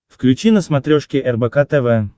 включи на смотрешке рбк тв